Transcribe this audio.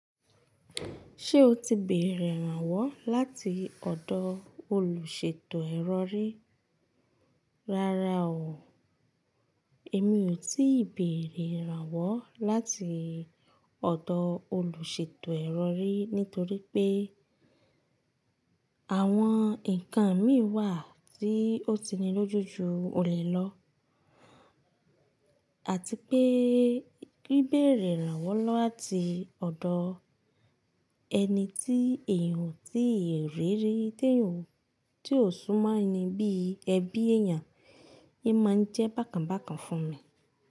Ṣé o ti bèrè irànwọ́ láti ọ̀dọ̀ olùṣètò ero rii rára o. Èmi ò tíì béèrè irànwọ́ láti ọ̀dọ̀ olùṣètò ero ríi nítorí pé àwọn nǹkan mi wà tí ó tini lójú ju òle lọ àti pé bibèrè irànwọ́ láti ọ̀dọ̀ ẹni tí èèyàn tí ì rí rí tí èèyàn tí ò sú máa ni bí ẹbí èèyàn, in máa n jẹ́ bákan bákan fún mi.